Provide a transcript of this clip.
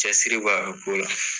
Cɛsiri b'a ko la.